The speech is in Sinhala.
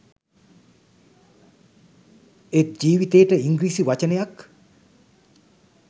ඒත් ජීවිතේට ඉංග්‍රීසි වචනයක්